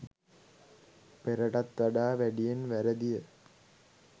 පෙරටත් වඩා වැඩියෙන් වැරදිය.